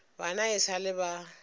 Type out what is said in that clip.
bana e sa le ba